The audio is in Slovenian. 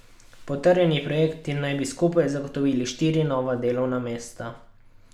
Potrjeni projekti naj bi skupaj zagotovili štiri nova delovna mesta.